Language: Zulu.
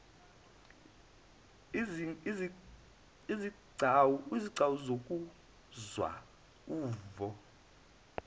izigcawu zokuzwa uvo